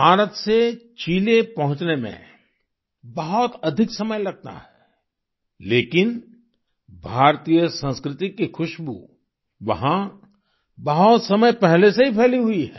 भारत से चिले पहुँचने में बहुत अधिक समय लगता है लेकिन भारतीय संस्कृति की खुशबू वहाँ बहुत समय पहले से ही फैली हुई है